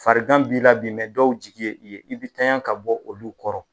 Farigan b'i la bi dɔw jigi ye i ye i bi tanya ka bɔ olu kɔrɔ.